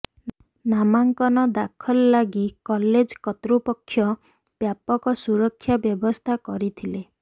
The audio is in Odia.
ନାମାଙ୍କନ ଦାଖଲ ଲାଗି କଲେଜ କର୍ତ୍ତୃପକ୍ଷ ବ୍ୟାପକ ସୁରକ୍ଷା ବ୍ୟବସ୍ଥା କରିଥିଲେ